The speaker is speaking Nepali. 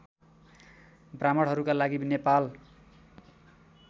ब्राह्मणहरूका लागि नेपाल